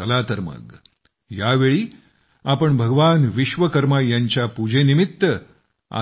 चला तर मग यावेळी आपण भगवान विश्वकर्मा यांच्या पूजेनिमित्त